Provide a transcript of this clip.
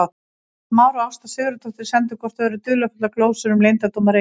Elías Mar og Ásta Sigurðardóttir sendu hvort öðru dularfullar glósur um leyndardóma Reykjavíkur.